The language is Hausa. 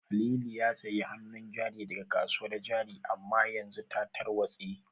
Halilu ya sayi hanun jari daga kasuwar jari amma yanzu ta tarwatse